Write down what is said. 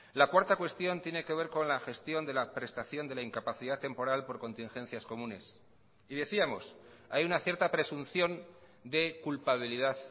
la cuarta cuestión tiene que ver con la gestión de la prestaciónde la incapacidad temporal por contingencias comunes y decíamos hay una cierta presunción de culpabilidad